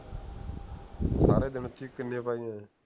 ਸਾਰੇ ਦਿਨ ਚ ਕਿੰਨੀਆਂ ਪਾਇਆ